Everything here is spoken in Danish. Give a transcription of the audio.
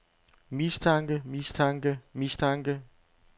mistanke mistanke mistanke